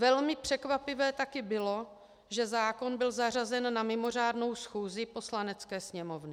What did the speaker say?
Velmi překvapivé taky bylo, že zákon byl zařazen na mimořádnou schůzi Poslanecké sněmovny.